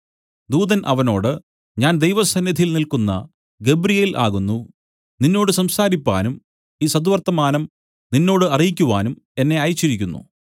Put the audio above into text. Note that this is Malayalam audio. ദൂതൻ അവനോട് ഞാൻ ദൈവസന്നിധിയിൽ നില്ക്കുന്ന ഗബ്രിയേൽ ആകുന്നു നിന്നോട് സംസാരിപ്പാനും ഈ സദ്വർത്തമാനം നിന്നോട് അറിയിക്കുവാനും എന്നെ അയച്ചിരിക്കുന്നു